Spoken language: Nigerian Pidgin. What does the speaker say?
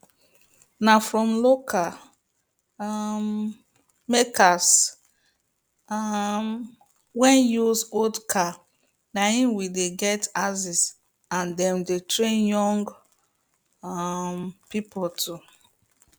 na from local um makers um wey use old car na him we dey get axes and them dey train young um people to